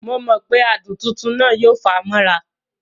Momọ̀pé adùn tuntun náà yóò fà á mọ́ra